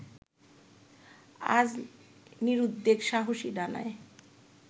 আজ নিরুদ্বেগ সাহসী ডানায়